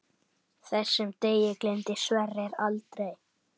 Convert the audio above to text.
Þessum degi gleymdi Sverrir aldrei.